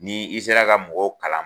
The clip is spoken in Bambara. Ni i sera ka mɔgɔw kala